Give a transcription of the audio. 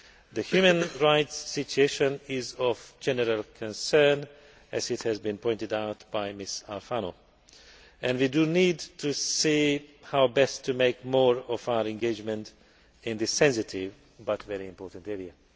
The human rights situation is of general concern, as has been pointed out by Ms Alfano, and we need to see how best to make more of our engagements in this sensitive but very important area.